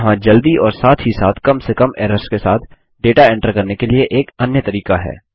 यहाँ जल्दी और साथ ही साथ कम से कम एरर्स के साथ डेटा एंटर करने के लिए एक अन्य तरीका है